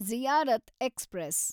Ziyarat express